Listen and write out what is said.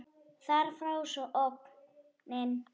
Þar fór sú ógnin.